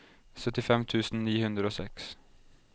syttifem tusen ni hundre og seks